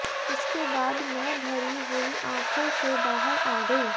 इसके बाद मैं भरी हुई आंखों से बाहर आ गई